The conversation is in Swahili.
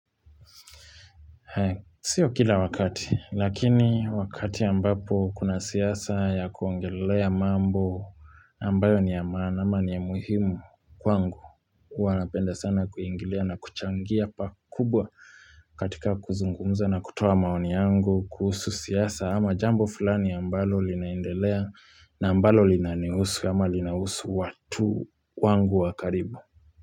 Sio kila wakati, lakini wakati ambapo kuna siasa ya kuongelea mambo ambayo niyamaana ama niya muhimu kwangu. Hua napenda sana kuingilia na kuchangia pakubwa katika kuzungumza na kutoa maoni yangu kuhusu siasa ama jambo fulani ambalo linaendelea na ambalo linanihusu ama linahusu watu kwangu wakaribu.